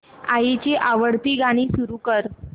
आईची आवडती गाणी सुरू कर